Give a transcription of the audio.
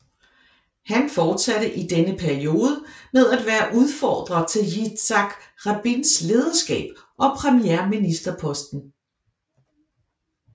Han forsatte i denne periode med at være udfordrer til Yitzhak Rabins lederskab og premierministerposten